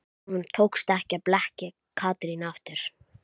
Honum tókst ekki að blekkja Katrínu aftur.